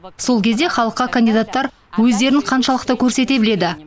сол кезде кандидаттар өздерін халыққа қаншалықты көрсете біледі